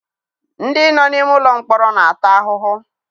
Ndị nọ n'ime ụlọ mkpọrọ na-ata ahụhụ.